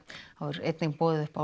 einnig boðið upp á